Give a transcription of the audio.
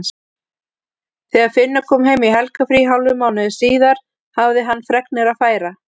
Þegar Finnur kom heim í helgarfrí hálfum mánuði síðar hafði hann fregnir að færa.